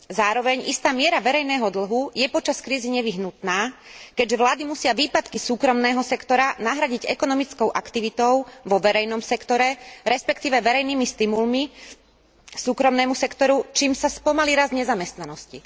Zároveň istá miera verejného dlhu je počas krízy nevyhnutná, keďže vlády musia výpadky súkromného sektora nahradiť ekonomickou aktivitou vo verejnom sektore, respektíve verejnými stimulmi súkromnému sektoru, čím sa spomalí rast nezamestnanosti.